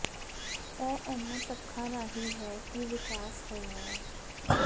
ਇਹ ਇਹਨਾਂ ਤੱਥਾਂ ਰਾਹੀਂ ਹੈ ਕਿ ਵਿਕਾਸ ਹੋਇਆ ਹੈ